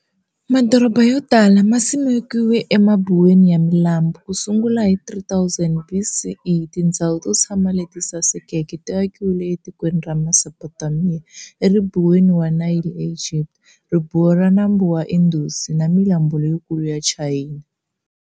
Madorobha y otala ma simekiwe emabuweni ya milambu, kusungula hi 3000 BCE tindhzawu to tshama leti sasekeke ti akiwile e tikweni ra Mesopotamiya, eribuweni ra nambu wa Nayli e Gibita, ribuwa ra nambu wa Indusi, na milambu leyikulu ya Chayina.